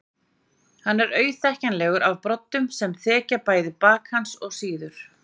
Hann er auðþekkjanlegur af broddunum sem þekja bæði bak hans og síður.